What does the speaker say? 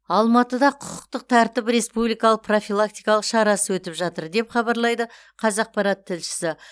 алматыда құқықтық тәртіп республикалық профилактикалық шарасы өтіп жатыр деп хабарлайды қазақпарат тілшісі